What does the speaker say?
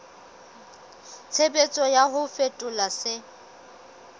tshebetso ya ho fetola se